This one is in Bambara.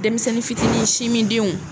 Denmisɛnnin fitinin sinmindenw